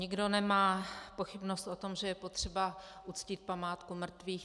Nikdo nemá pochybnost o tom, že je potřeba uctít památku mrtvých.